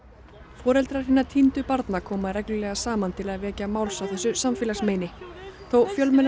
foreldrar hinna týndu barna koma reglulega saman til að vekja máls á þessu samfélagsmeini þó fjölmennar